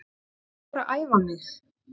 En ég fór að æfa mig.